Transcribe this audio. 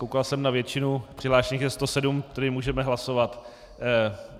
Koukal jsem na většinu, přihlášených je 107, tedy můžeme hlasovat.